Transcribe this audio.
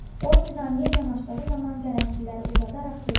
O Nizamiya yanaşdığı zaman qərənfilləri uzadaraq dedi: